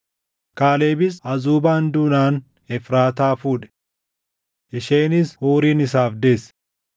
Kaalebis Azuubaan duunaan Efraataa fuudhe. Isheenis Huurin isaaf deesse.